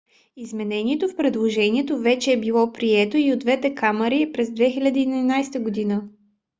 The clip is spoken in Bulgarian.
изменението в предложението вече е било прието и от двете камари през 2011 г